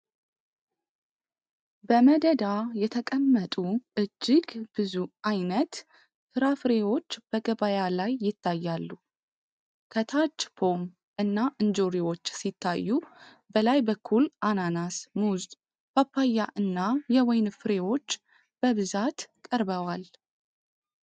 በመደዳ የተቀመጡ እጅግ ብዙ አይነት ፍራፍሬዎች በገበያ ላይ ይታያሉ። ከታች ፖም እና እንጆሪዎች ሲታዩ፣ በላይ በኩል አናናስ፣ ሙዝ፣ ፓፓያ እና ወይን ፍሬዎች በብዛት ቀርበዋል።